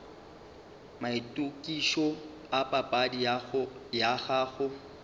maitokišo a papadi ya gago